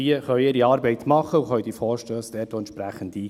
Diese können ihre Arbeit machen und Vorstösse einreichen.